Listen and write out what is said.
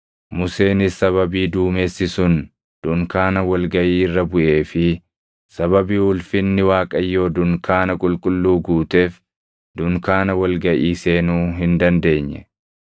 Museenis sababii duumessi sun dunkaana wal gaʼii irra buʼee fi sababii ulfinni Waaqayyoo dunkaana qulqulluu guuteef dunkaana wal gaʼii seenuu hin dandeenye.